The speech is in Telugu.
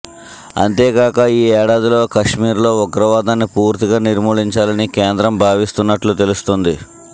అంతే కాక ఈ ఏడాదిలో కశ్మీర్లో ఉగ్రవాదాన్ని పూర్తిగా నిర్మూలించాలని కేంద్రం భావిస్తోన్నట్లు తెలుస్తోంది